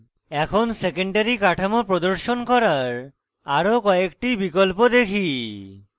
এখন protein secondary কাঠামো প্রদর্শন করার আরো কয়েকটি বিকল্প দেখি